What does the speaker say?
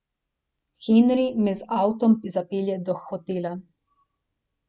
Henri me z avtom zapelje do hotela.